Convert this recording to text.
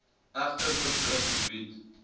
egter uitdruklik verbied